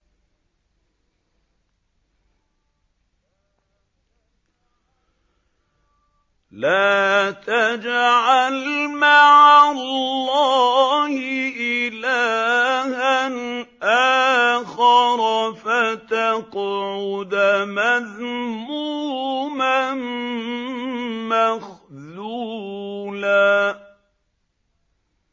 لَّا تَجْعَلْ مَعَ اللَّهِ إِلَٰهًا آخَرَ فَتَقْعُدَ مَذْمُومًا مَّخْذُولًا